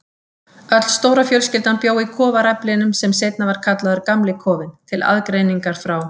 Öll stóra fjölskyldan bjó í kofaræflinum sem seinna var kallaður Gamli kofinn, til aðgreiningar frá